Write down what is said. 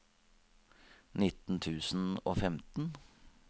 nitten tusen og femten